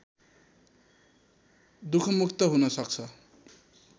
दुखमुक्त हुन सक्छ